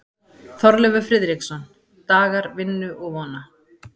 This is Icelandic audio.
Þorleifur Friðriksson: Dagar vinnu og vona.